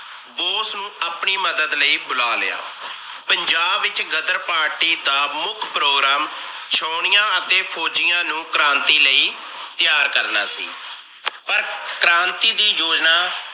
ਬੋਸ ਨੂੰ ਆਪਣੀ ਮਦਦ ਲਈ ਬੁਲਾ ਲਿਆ। ਪੰਜਾਬ ਵਿਚ ਗ਼ਦਰ party ਦਾ ਮੁੱਖ program ਛਾਉਣੀਆਂ ਅਤੇ ਫੋਜੀਆਂ ਨੂੰ ਕ੍ਰਾਂਤੀ ਲਈ ਤਿਆਰ ਕਰਨਾ ਸੀ, ਪਰ ਕ੍ਰਾਂਤੀ ਦੀ ਜੋਜਣਾ